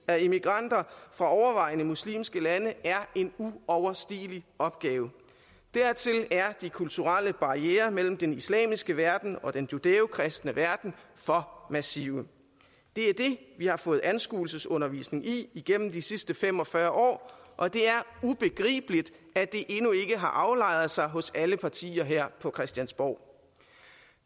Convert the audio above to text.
af immigranter fra overvejende muslimske lande er en uoverstigelig opgave dertil er de kulturelle barrierer mellem den islamiske verden og den judæo kristne verden for massive det er det vi har fået anskuelsesundervisning i igennem de sidste fem og fyrre år og det er ubegribeligt at det endnu ikke har aflejret sig hos alle partier her på christiansborg